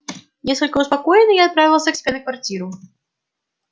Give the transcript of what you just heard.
несколько успокоенный я отправился к себе на квартиру